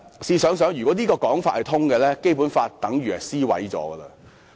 試想想，如果這種說法說得通，《基本法》等於已被燒毀。